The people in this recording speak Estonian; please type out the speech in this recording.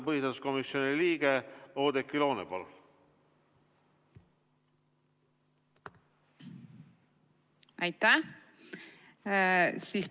Põhiseaduskomisjoni liige Oudekki Loone, palun!